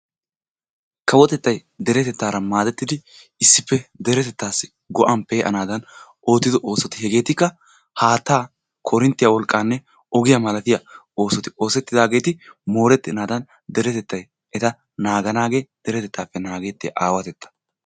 Kawotettaay deretettaaraa maadettidi issippe deretettaassi go'aan pee'anaadan oottiddo oosoti hegeetikka haattaa koorinttiya wolqqaanne ogiya malatiya oosoti oosettidaageeti moorettenaadan deretettay eta naaganaagee deretettaappe naagettiya aawatetta.